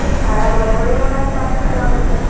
সারা বছরেই ওনাকে আসতে হবে।